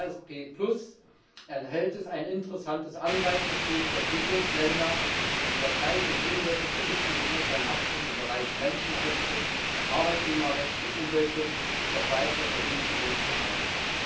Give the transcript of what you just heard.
Mit dem APS enthält es ein interessantes Anreizsystem für Entwicklungsländer, durch Unterzeichnung und Umsetzung der wichtigen internationalen Abkommen im Bereich Menschenrechte, Arbeitnehmerrecht und Umweltschutz noch weitere Vergünstigungen zu erhalten.